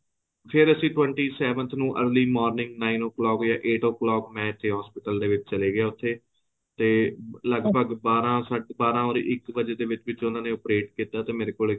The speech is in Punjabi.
ਫ਼ੇਰ ਅਸੀਂ twenty seventh ਨੂੰ early morning nine of clock ਜਾਂ eight of clock ਮੈਂ ਇੱਥੇ hospital ਦੇ ਵਿੱਚ ਚਲਾ ਗਿਆ ਉਥੇ ਤੇ ਲਗਭਗ ਬਾਰਾਂ or ਇੱਕ ਵਜੇ ਦੇ ਵਿੱਚ ਵਿੱਚ ਉਹਨਾ operate ਕੀਤਾ ਤੇ ਮੇਰੇ ਕੋਲ ਇੱਕ